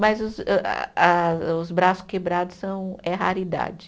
Mas os âh ah os braços quebrados são, é raridade.